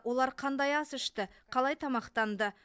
олар қандай ас ішті қалай тамақтанды